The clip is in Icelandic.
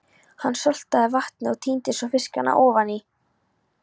Hann saltaði vatnið og tíndi svo fiskana ofaní.